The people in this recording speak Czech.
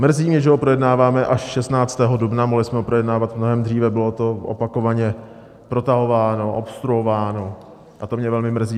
Mrzí mě, že ho projednáváme až 16. dubna, mohli jsme ho projednávat mnohem dříve, bylo to opakovaně protahováno, obstruováno a to mě velmi mrzí.